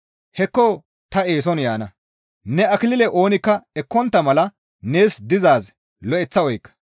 Hekko ta eeson yaana; ne akilile oonikka ekkontta mala nees dizaaz lo7eththa oykka.